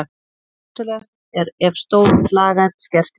Hættulegast er ef stór slagæð skerst í sundur.